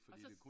Og så